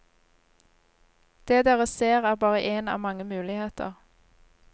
Det dere ser er bare én av mange muligheter.